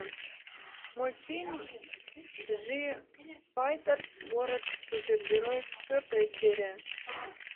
мультфильм джифайтерс город супергероев четвертая серия